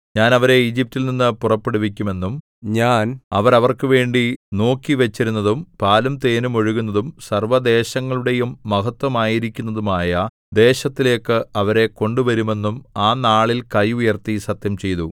ഞാൻ അവരെ ഈജിപ്റ്റിൽ നിന്ന് പുറപ്പെടുവിക്കുമെന്നും ഞാൻ അവർക്കുവേണ്ടി നോക്കിവച്ചിരുന്നതും പാലും തേനും ഒഴുകുന്നതും സർവ്വദേശങ്ങളുടെയും മഹത്ത്വമായിരിക്കുന്നതുമായ ദേശത്തിലേക്ക് അവരെ കൊണ്ടുവരുമെന്നും ആ നാളിൽ കൈ ഉയർത്തി സത്യംചെയ്തു